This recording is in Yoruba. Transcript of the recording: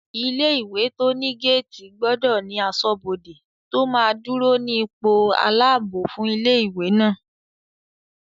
Ilé-ìwé tó ní géètì gbọdọ̀ ní asọ́bodè tó máa dúró ní ipò aláàbò fún ilé-ìwé náà